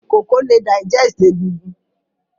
Ìkokò le digest egigun